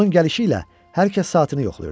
Onun gəlişi ilə hər kəs saatını yoxlayırdı.